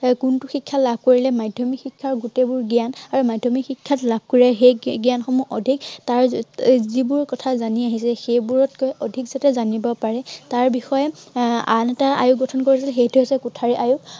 আৰু কোনটো শিক্ষা লাভ কৰিলে মাধ্য়মিক শিক্ষাৰ গোটেইবোৰ জ্ঞান আৰু মাধ্য়মিক শিক্ষাত লাভ কৰা সেই জ্ঞানসমূহ আহ অধিক তাৰ এৰ যিবোৰ কথা জানি আহিছে, সেইবোৰতকৈ অধিক যাতে জানিব পাৰে তাৰ বিষয়ে আহ আন এটা আয়োগ গঠন কৰিছে, সেইটো হৈছে কোঠাৰী আয়োগ।